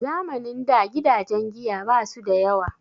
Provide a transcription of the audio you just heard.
Zamanin da gidajen giya basu da yawa